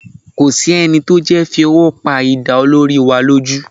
Kò sí ẹni tó jẹ́ fi ọwọ́ pa idà olórí wa lójú